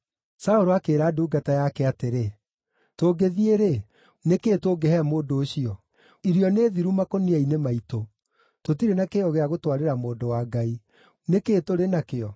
Saũlũ akĩĩra ndungata yake atĩrĩ, “Tũngĩthiĩ-rĩ, nĩ kĩĩ tũngĩhe mũndũ ũcio? Irio nĩ thiru makũnia-inĩ maitũ. Tũtirĩ na kĩheo gĩa gũtwarĩra mũndũ wa Ngai. Nĩ kĩĩ tũrĩ nakĩo?”